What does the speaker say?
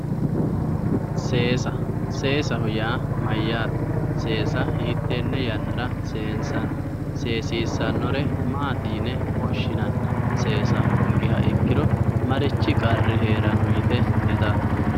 Seessa, seessaho yaa mayate, seessa hiitene yannara seensanni ,seesissanore maati yinne woshshinanni ,seessa hoongiro marichi qarri heerano yte hedatto?